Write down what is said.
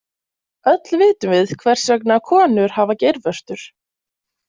Öll vitum við hvers vegna konur hafa geirvörtur.